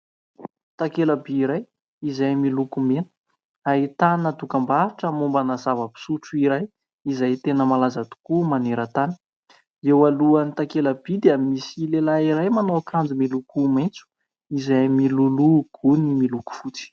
Takela-by iray izay miloko mena ahitana dokam-barotra mombana zava-pisotro iray izay tena malaza tokoa maneran-tany. Eo alohan'ny takela-by dia misy lehilahy iray manao akanjo miloko maitso izay miloloha gony miloko fotsy.